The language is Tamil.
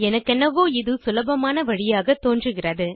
எனக்கென்னவோ இது சுலபமான வழியாக தோன்றுகிறது